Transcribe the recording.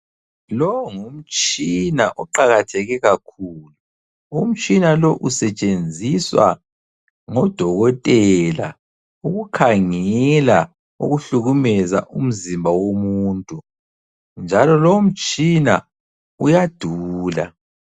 Lowo ngumtshina oqakatheke kakhulu. Umtshina lo usetshenziswa ngodokotela ukukhangela okuhlukumeza umzimba womuntu, njalo lomtshina uyadula.